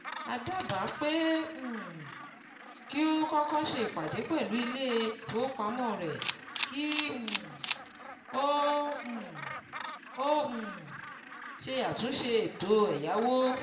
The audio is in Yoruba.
A dábàá pé um kí o kọ́kọ́ ṣe ìpadé pẹ̀lú ilé-ìfowópamọ́ rẹ kí um o um o um ṣe àtúnṣe ètò ẹ̀yáwó.